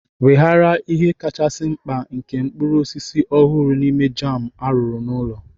Weghaara ihe kachasi mkpa nke mkpụrụ osisi ọhụrụ n'ime jam arụrụ n'ụlọ.